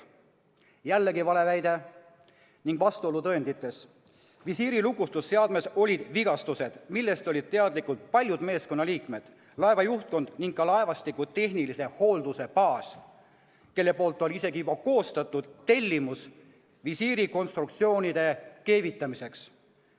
" Jällegi vale väide ning vastuolu tõendites: visiiri lukustusseadmes olid vigastused, millest olid teadlikud paljud meeskonnaliikmed, laeva juhtkond ning ka laevastiku tehnilise hoolduse baas, kes oli isegi juba koostanud tellimuse visiirikonstruktsioonide keevitamiseks.